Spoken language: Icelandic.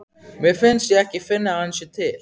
Mér finnst ég ekki finna að hann sé til.